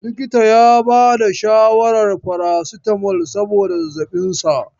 Likitan ya bada shawarar farasitamol saboda zazzaɓin sa.